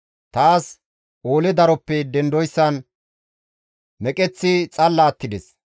Taas oole daroppe dendoyssan meqeththi xalla attides.